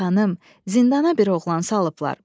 Xanım, zindana bir oğlan salıblar.